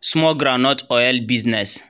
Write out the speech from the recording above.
small groundnut oil bizness.